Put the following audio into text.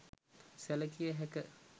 සැළකිය හැක.